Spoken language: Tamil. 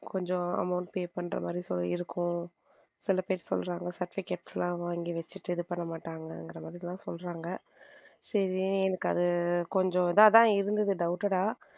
கொஞ்சம் amount pay பண்ற மாதிரி இருக்கும் சில பேர் சொல்றாங்க certificate லாம் வாங்கி வச்சுட்டான் இது பண்ண மாட்டாங்க அந்த மாதிரி எல்லாம் சொல்றாங்க சரி அது கொஞ்சம் இதா தான் இருந்தது doubted ஆ.